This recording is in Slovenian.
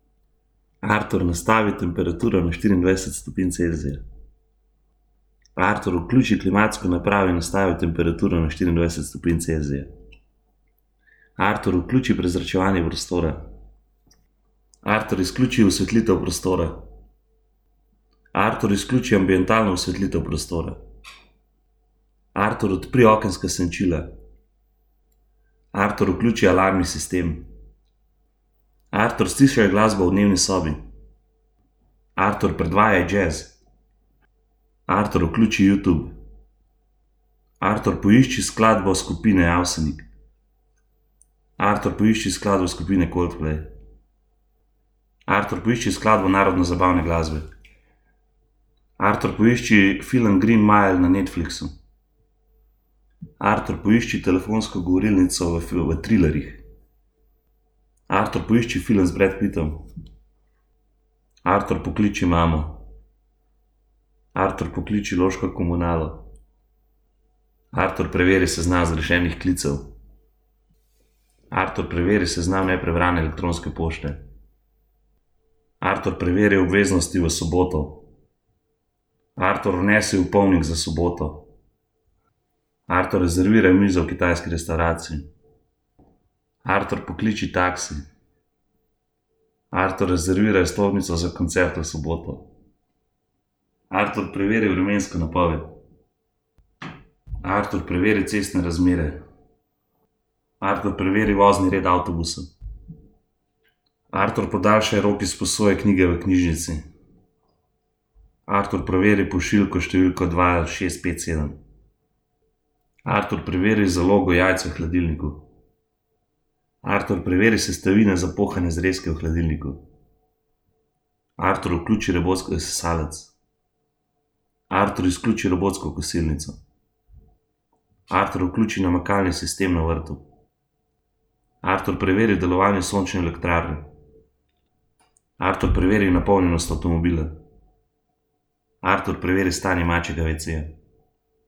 Artur, nastavi temperaturo na štiriindvajset stopinj Celzija. Artur, vključi klimatsko napravo in nastavi temperaturo na štiriindvajset stopinj Celzija. Artur, vključi prezračevanje prostora. Artur, izključi osvetlitev prostora. Artur, izključi ambientalno osvetlitev prostora. Artur, odpri okenska senčila. Artur, vključi alarmni sistem. Artur, stišaj glasbo v dnevni sobi. Artur, predvajaj jazz. Artur, vključi Youtube. Artur, poišči skladbo skupine Avsenik. Artur, poišči skladbo skupine Coldplay. Artur, poišči skladbo narodnozabavne glasbe. Artur, poišči film Greenmail na Netflixu. Artur, poišči telefonsko govorilnico v v trilerjih. Artur, poišči film z Bradom Pittom. Artur, pokliči mamo. Artur, pokliči loško komunalo. Artur, preveri seznam zgrešenih klicev. Artur, preveri seznam neprebrane elektronske pošte. Artur, preveri obveznosti v soboto. Artur, vnesi opomnik za soboto. Artur, rezerviraj mizo v kitajski restavraciji. Artur, pokliči taksi. Artur, rezerviraj vstopnico za koncert v soboto. Artur, preveri vremensko napoved. Artur, preveri cestne razmere. Artur, preveri vozni red avtobusov. Artur, podaljšaj rok izposoje knjige v knjižnici. Artur, preveri pošiljko številko dva, šest, pet, sedem. Artur, preveri zalogo jajc v hladilniku. Artur, preveri sestavine za pohane zrezke v hladilniku. Artur, vključi robotski sesalec. Artur, izključi robotsko kosilnico. Artur, vključi namakalni sistem na vrtu. Artur, preveri delovanje sončne elektrarne. Artur, preveri napolnjenost avtomobila. Artur, preveri stanje mačjega veceja.